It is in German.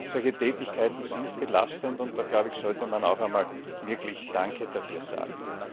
Solche Tätigkeiten sind belastend, und da, glaube ich, sollte man auch einmal wirklich Danke dafür sagen.